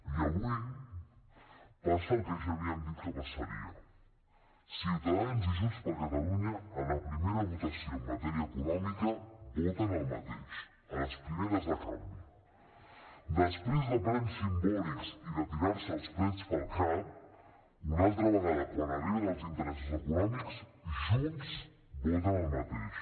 i avui passa el que ja havíem dit que passaria ciutadans i junts per catalunya en la primera votació en matèria econòmica voten el mateix a les primeres de canvi després de plens simbòlics i de tirar se els plats pel cap una altra vegada quan arriben els interessos econòmics junts voten el mateix